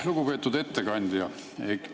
Lugupeetud ettekandja!